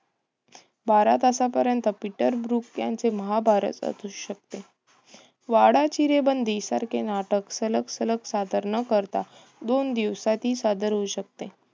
बारा तासापर्यंत Peter Brook यांचे महाभारत असू शकते. वाडा चिरेबंदी सारखे नाटक सलग सलग सादर न करता, दोन दिवसांत ही सादर होऊ शकते.